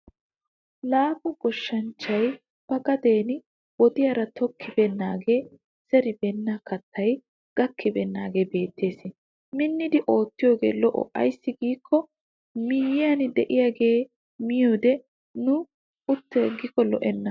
Laafa goshshanchchay ba gaden wodiyaara tokkibeennanne zeribeenna kattay gakkibeennaagee beettes. Minnidi oottiyoogee lo'o ayssi giikko miyyiyan de'iyaagee miyoode ne uttaagikko lo'enna.